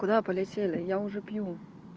куда полетели я уже пью